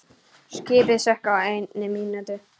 Skipið sökk á einni mínútu.